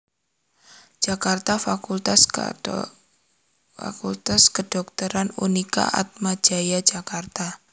Jakarta Fakultas Kadhokteran Unika Atma Jaya Jakarta